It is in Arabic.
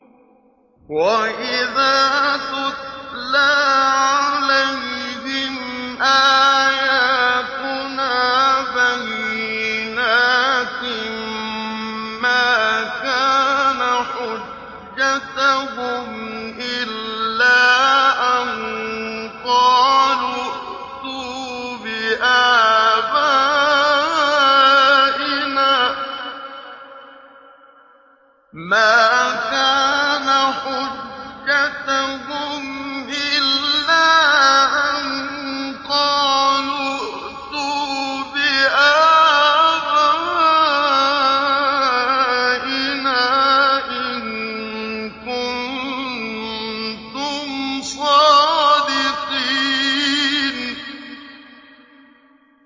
وَإِذَا تُتْلَىٰ عَلَيْهِمْ آيَاتُنَا بَيِّنَاتٍ مَّا كَانَ حُجَّتَهُمْ إِلَّا أَن قَالُوا ائْتُوا بِآبَائِنَا إِن كُنتُمْ صَادِقِينَ